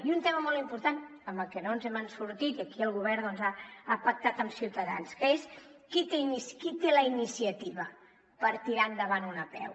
i un tema molt important en el que no ens n’hem sortit i aquí el govern doncs ha pactat amb ciutadans és qui té la iniciativa per tirar endavant una apeu